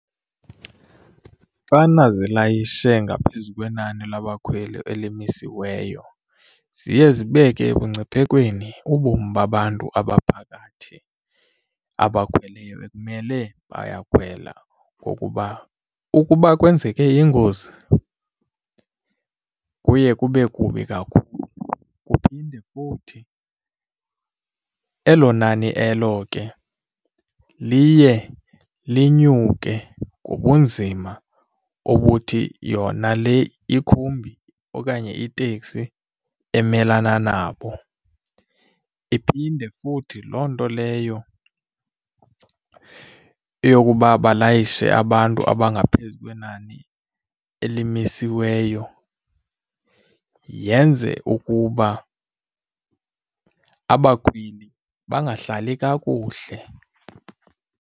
Xana zilayishe ngaphezu kwenani labakhweli elimisiweyo ziye zibeke ebungciphekweni ubomi babantu abaphakathi abakhweleyo ekumele bayakhwela. Ngokuba ukuba kwenzeke ingozi, kuye kube kubi kakhulu. Kuphinde futhi elo nani elo ke liye linyuke ngobunzima obuthi yona le ikhumbi okanye iteksi emelana nabo iphinde futhi loo nto leyo yokuba balayishe abantu abangaphezu kwenani elimisiweyo yenze ukuba abakhweli bangahlali kakuhle.